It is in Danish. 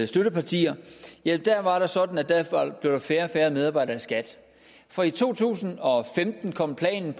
støtteparti ja der var det sådan at der blev færre og færre medarbejdere i skat for i to tusind og femten kom planen